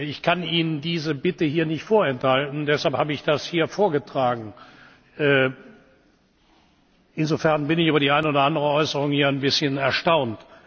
Ich kann Ihnen diese Bitte hier nicht vorenthalten, deshalb habe ich das hier vorgetragen. Insofern bin ich über die eine oder andere Äußerung hier ein bisschen erstaunt.